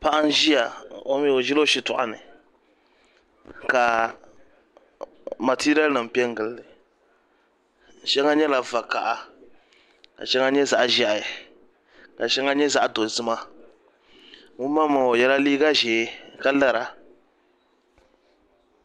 Paɣa n ʒi o shitoɣu ni ka matiriya nim piɛ n gilili shɛŋa nyɛla vakaɣa ka shɛŋa nyɛ zaɣ ʒiɛhi ka shɛŋa nyɛ zaɣ dozima ŋun maŋmaŋa o yɛla liiga ʒiɛ ka lara